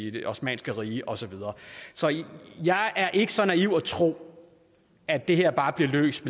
i det osmanniske rige og så videre så jeg er ikke så naiv at tro at det her bare bliver løst